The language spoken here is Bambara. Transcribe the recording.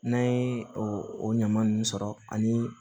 N'an ye o ɲama nunnu sɔrɔ ani